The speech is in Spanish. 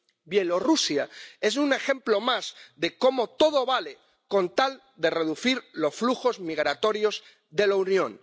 Bielorrusia es un ejemplo más de cómo todo vale con tal de reducir los flujos migratorios de la Unión.